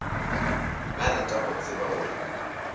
ba rata go tseba gore